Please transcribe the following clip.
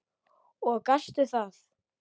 Og gastu það?